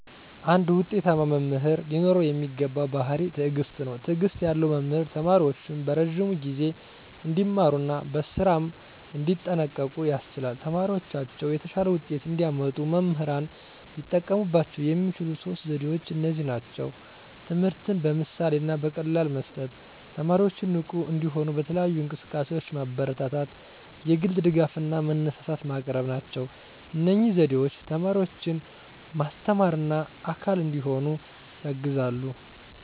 አንድ ውጤታማ መምህር ሊኖረው የሚገባው ባሕርይ ትዕግስት ነው። ትዕግስት ያለው መምህር ተማሪዎቹን በረዥም ጊዜ እንዲማሩ እና በስራም እንዲጠንቀቁ ያስችላል። ተማሪዎቻቸው የተሻለ ውጤት እንዲያመጡ መምህራን ሊጠቀሙባቸው የሚችሉት ሦስት ዘዴዎች እነዚህ ናቸው፦ ትምህርትን በምሳሌ እና በቀላል መስጠት፣ 2) ተማሪዎችን ንቁ እንዲሆኑ በተለያዩ እንቅስቃሴዎች ማበረታታት፣ 3) የግል ድጋፍ እና መነሳሳት ማቅረብ ናቸው። እነዚህ ዘዴዎች ተማሪዎችን ማስተማርና አካል እንዲሆኑ ያግዛሉ።